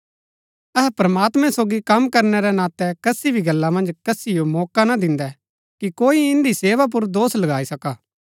अहै प्रमात्मैं सोगी कम करणै रै नातै कसी भी गल्ला मन्ज कसिओ मौका ना दिन्दै कि कोई इन्दी सेवा पुर दोष लगाई सका